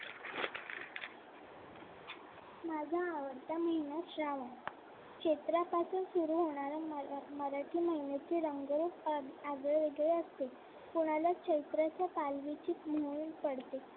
माझा आवडता महिना श्रावण. चैत्रापासून सुरु होणाऱ्या मराठी महिन्याचे रंग आगळे वेगळे असते. कोणाला चैत्राच्या पालवीची म्ह्णून पडते